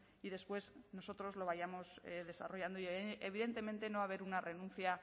y después nosotros lo vayamos desarrollando evidentemente no va a haber una renuncia